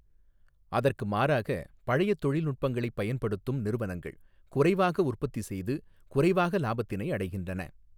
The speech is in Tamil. அதற்கு மாறாக பழையத்தொழில் நுட்பங்களைப் பயன்படுத்தும் நிறுவனங்கள் குறைவாக உற்பத்தி செய்து குறைவாக இலாபத்தினை அடைகின்றன.